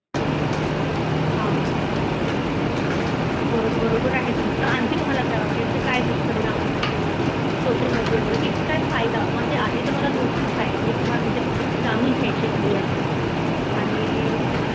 हां बरोबर आहे तुमचं आणखी तुम्हाला काय वाटत यांचे अजुन काय दुष्परिणाम होत सोशल मेडिया मुळे किती काय फायदा म्हणजे आधी दोन तीन फायदे तुम्हाला म्हंजे जाणून घ्यायचे आहेत तुमच्या कडन आणि